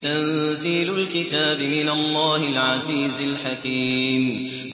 تَنزِيلُ الْكِتَابِ مِنَ اللَّهِ الْعَزِيزِ الْحَكِيمِ